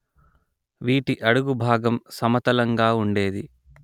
వీటి అడుగు భాగం సమతలంగా ఉండేది